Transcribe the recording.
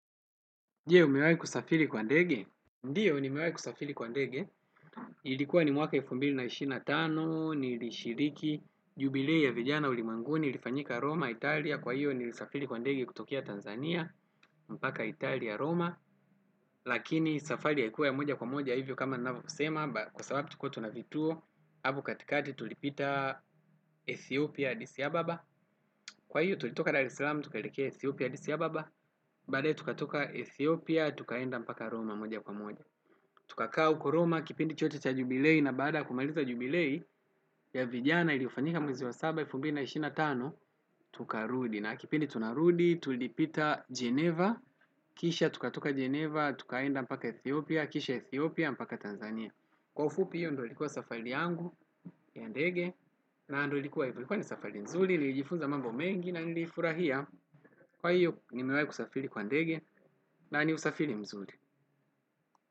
Ndiyo, nimewai kusafiri kwa ndege? Ndiyo, ni mewai kusafili kwa ndege. Ilikuwa ni mwaka elfu mbili na ishirini na tano, nilishiriki, jubilee ya vijana ulimwenguni, ulifanyika Roma, Italia. Kwa hiyo, nilisafiri kwa ndege kutokea Tanzania, mpaka Italia, Roma. Lakini, safari ilikuwa ya moja kwa moja, hivyo kama navyo sema, kwa sababu tulikua tuna vituo. Hapo katikati tulipita Ethiopia, Addisi ababa. Kwa hiyo, tulitoka Dar es Salaam, tukeleke Ethiopia, Addisi ababa. Baadaye tukatoka Ethiopia, tukaenda mpaka Roma moja kwa moja. Tukakaa uko Roma, kipindi chote cha jubilee na bada kumaliza jubilei ya vijana iliyofanyika mwezi wa saba, elfu mbili, na ishirini na tano. Tukarudi na kipindi tunarudi, tulipita Geneva. Kisha tukatoka Geneva, tukaenda mpaka Ethiopia. Kisha Ethiopia, mpaka Tanzania. Kwa ufupi hiyo ndo likuwa safari yangu ya ndege na ndo likuwa hivo, likuwa ni safari nzuri nilijifunza mambo mengi na nilifurahia kwa hiyo nimiwai kusafiri kwa ndege na ni usafiri mzuri.